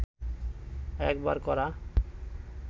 একবার করা